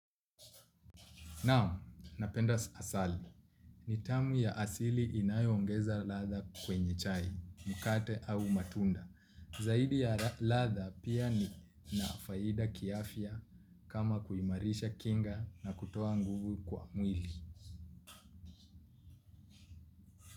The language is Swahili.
Naam, napenda asali. Ni tamu ya asili inayongeza ladha kwenye chai, mkate au matunda. Zaidi ya ladha, pia ina faida kiafia kama kuimarisha kinga na kutoa nguvu kwa mwili.